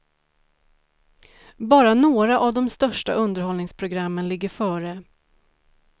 Bara några av de största underhållningsprogrammen ligger före.